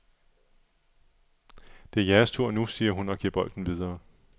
Det er jeres tur nu, siger hun og giver bolden videre.